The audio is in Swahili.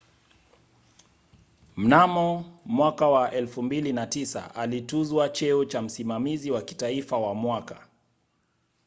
mnamo 2009 alituzwa cheo cha msimamizi wa kitaifa wa mwaka